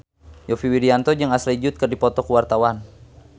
Yovie Widianto jeung Ashley Judd keur dipoto ku wartawan